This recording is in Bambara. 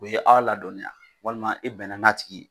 O ye aw ladɔniya walima I bɛnn'a tigi ye,